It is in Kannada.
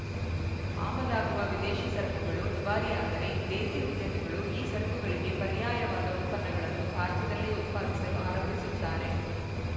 ಆಮದಾಗುವ ವಿದೇಶಿ ಸರಕುಗಳು ದುಬಾರಿಯಾದರೆ ದೇಸಿ ಉದ್ಯಮಿಗಳು ಈ ಸರಕುಗಳಿಗೆ ಪರ್ಯಾಯವಾದ ಉತ್ಪನ್ನಗಳನ್ನು ಭಾರತದಲ್ಲೇ ಉತ್ಪಾದಿಸಲು ಆರಂಭಿಸುತ್ತಾರೆ